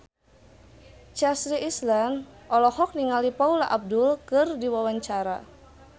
Chelsea Islan olohok ningali Paula Abdul keur diwawancara